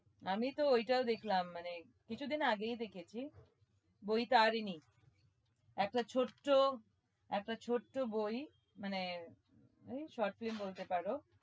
আমি তো ওইটাও দেখলাম মানে কিছুদিন আগেই দেখেছি বৈতারিণী একটা ছোট্ট একটা ছোট্ট বই মানে ওই short film বলতে পারো।